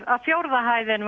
að fjórða hæðin